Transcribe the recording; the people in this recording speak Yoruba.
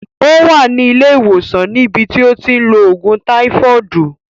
Ó wà ní ilé ìwòsàn ní bi tí ó ti ń lo ògùn táífọọdu